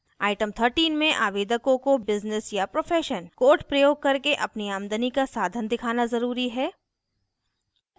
item 13 में आवेदकों को business या profession code प्रयोग करके अपनी आमदनी का साधन दिखाना ज़रूरी है